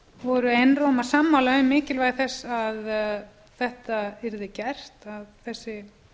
voru einróma sammála um mikilvægi þess að þetta yrði gert að þessi